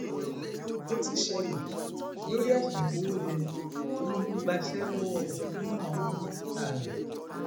ó ti ṣẹlẹ lórí ẹsùn ìkówójẹ tinubu gbaṣẹ lọwọ ọkan nínú àwọn mínísítà ẹ